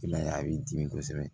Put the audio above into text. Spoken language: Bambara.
I m'a ye a b'i dimi kosɛbɛ